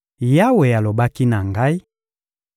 Yawe alobaki na ngai: